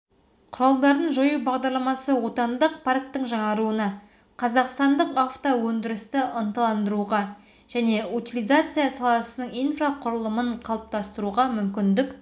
құралдарын жою бағдарламасы отандық парктің жаңаруына қазақстандық автоөндірісті ынталандыруға және утилизация саласының инфроқұрылымын қалыптастыруға мүмкіндік